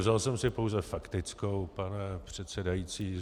Vzal jsem si pouze faktickou, pane předsedající.